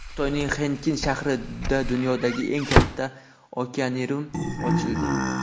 Xitoyning Xenkin shahrida dunyodagi eng katta okeanarium ochildi.